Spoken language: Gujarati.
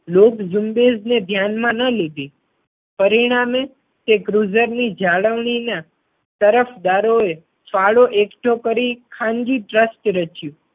લોક ઝુંબેશ ને ધ્યાનમાં ના લીધી પરિણામે તે cruzer ની જાળવણી ના તરફદારો એ ફાળો એકઠો કરી ખાનગી ટ્રસ્ટ રચ્યું.